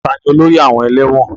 Tani olórí àwọn ẹlẹ́wọ̀n?